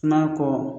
N'a kɔ